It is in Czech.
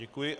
Děkuji.